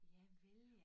Javel ja